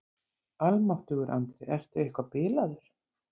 Almáttugur Andri, ertu eitthvað bilaður?